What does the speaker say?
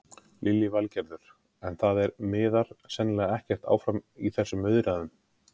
Lillý Valgerður: En það er, miðar sennilega ekkert áfram í þessum viðræðum?